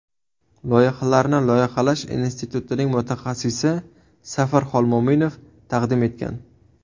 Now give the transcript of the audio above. Loyihalarni Loyihalash institutining mutaxassisi Safar Xolmo‘minov taqdim etgan.